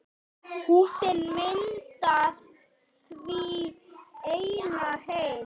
Húsin mynda því eina heild.